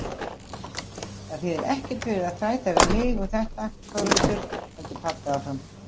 Það þýðir ekkert fyrir þig að þræta við mig um þetta Þórhildur, heldur pabbi áfram.